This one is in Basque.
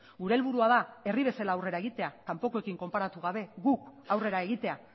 gure helburua da herri bezala aurrera egitea kanpokoekin konparatu gabe guk aurrera egitea